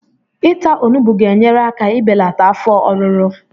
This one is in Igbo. Ịta onugbu ga-enyere aka ibelata afọ ọruru